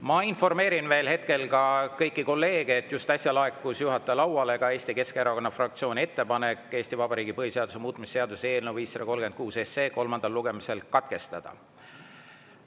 Ma informeerin veel hetkel kõiki kolleege, et just äsja laekus juhataja lauale ka Eesti Keskerakonna fraktsiooni ettepanek Eesti Vabariigi põhiseaduse muutmise seaduse eelnõu 536 kolmas lugemine katkestada.